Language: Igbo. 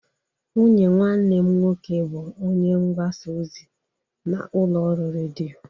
Nwunye nwanne m nwoke bụ onye mgbasa ozi n'ụlọ ọrụ redio.